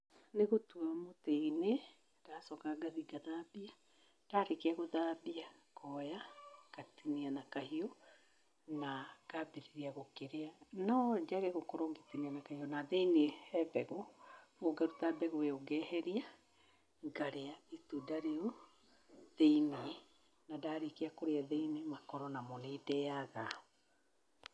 Nĩ gũtua mũtĩ-inĩ ngacoka ngathiĩ ngathambia, ndarĩkia gũthambia ngoya, ngatinia na kahiũ na ngambĩrĩria kũrĩa. No njage gũkorwo ngĩtinia na kahiũ, na thĩiniĩ he mbegũ, ngaruta mbegũ ĩyo ngeheria, ngarĩa itunda rĩu thĩiniĩ. Na ndarĩkia kũrĩa thĩiniĩ, makoro namo nĩ ndeyaga.